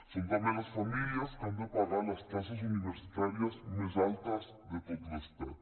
són també les famílies que han de pagar les taxes universitàries més altes de tot l’estat